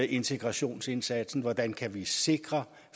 integrationsindsatsen hvordan vi kan sikre